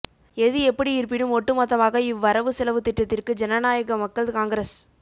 எது எப்படி இருப்பினும் ஒட்டு மொத்தமாக இவ்வரவு செலவு திட்டத்திற்கு ஜனநாயக மக்கள் காங்கிரஸ்